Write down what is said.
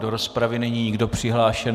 Do rozpravy není nikdo přihlášen.